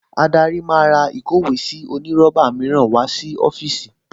Adarí máa ra ìkówèésí onírọ́bà mìíràn wá sí ọ́fíìsì